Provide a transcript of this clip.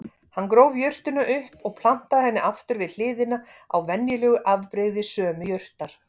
Hann gróf jurtina upp og plantaði henni aftur við hliðina á venjulegu afbrigði sömu jurtar.